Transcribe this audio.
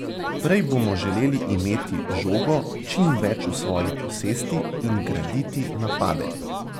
Prej bomo želeli imeti žogo čim več v svoji posesti in graditi napade.